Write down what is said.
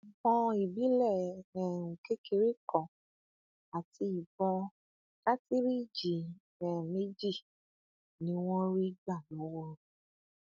ìbọn ìbílẹ um kékeré kan àti ìbọn kàtìrìíjì um méjì ni wọn rí gbà lọwọ rẹ